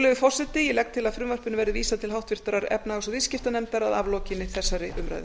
virðulegi forseti ég legg til að frumvarpinu verði vísað til háttvirtrar efnahags og viðskiptanefndar að aflokinni þessari umræðu